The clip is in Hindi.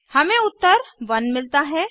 हमें उत्तर 1 मिलता है